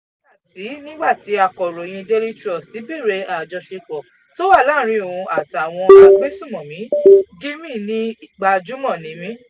nígbà tí nígbà tí akọ̀ròyìn daily trust béèrè àjọṣepọ̀ tó wà láàrin òun àtàwọn agbesunmọ̀mí gímí ní gbajúmọ̀ ni mí